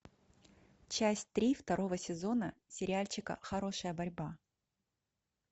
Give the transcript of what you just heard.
часть три второго сезона сериальчика хорошая борьба